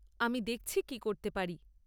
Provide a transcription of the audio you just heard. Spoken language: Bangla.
আমি দেখছি কী করতে পারি।